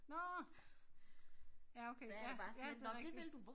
Nåh ja okay ja ja det rigtig